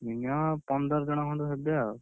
Minimum ପନ୍ଦର ଜଣ ଖଣ୍ଡ ହେବେ ଆଉ।